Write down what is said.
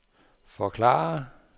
forklare